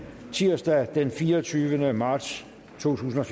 tirsdag den fireogtyvende marts totusinde